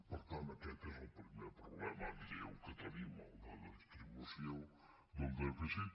per tant aquest és el primer problema greu que tenim el de la distribució del dèficit